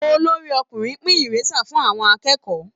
Olorí-ọkùnrin ń pín ìrésà fún àwọn akẹ́kọ̀ọ́